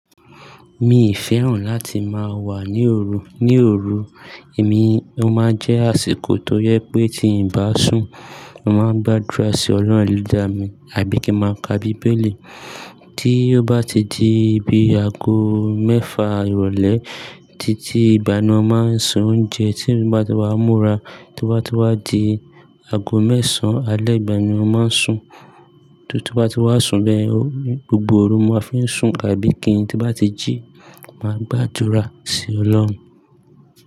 Mii fẹ́ràn láti máa wà ní òru. Ní òru, èmi, ó máa ń jẹ́ àsìkò tó jẹ pé tí ń bá sùn, mo máa ń gbàdúrà sí Ọlọ́run eleda mi àbí kí ń máa ka bíbélì. Tí ó bá ti di bí aago mẹ́fa ìrọ̀lẹ́ títí ìgbà náà, mo máa ń se oúnjẹ tí mo bá ti wá múra. Toba tí wá di aago mẹ́sàn-án alẹ́ ìgbà yen ni mo máa ń sùn. Tí mo bá ti wá sùn bẹ́ẹ̀, gbogbo òru ni mo máa n fi ń sùn àbí kí n tí n bá ti jí, màá gbàdúrà sí Ọlọ́run.